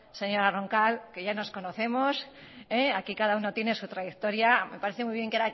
señora roncal que ya nos conocemos aquí cada uno tiene su trayectoria me parece muy bien